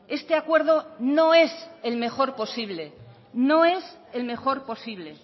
este acuerdo no es el mejor posible no es el mejor posible